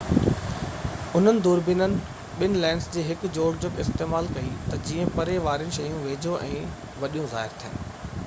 انهن دوربينين ٻہ لينسز جي هڪ جوڙجڪ استعمال ڪئي تہ جيئن پري واريون شيون ويجهو ۽ وڏيو ظاهر ٿين